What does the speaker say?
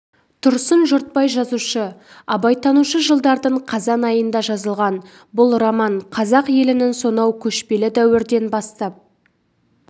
тұрсын жұртбай жазушы абайтанушы жылдардың қазан айында жазылған бұл роман қазақ елінің сонау көшпелі дәуірден бастап